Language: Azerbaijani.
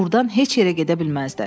Burdan heç yerə gedə bilməzlər.